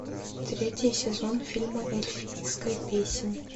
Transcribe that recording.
третий сезон фильма эльфийская песнь